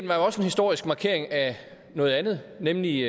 var jo også en historisk markering af noget andet nemlig